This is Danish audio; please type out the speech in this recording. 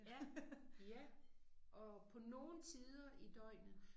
Ja ja og på nogle tider i døgnet